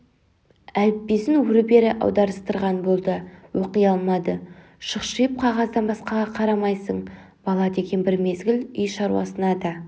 әліппесінөрі-бері аударыстырған болды оқи алмады шұқшиып қағаздан басқаға қарамайсың бала деген бір мезгіл үй шаруасына да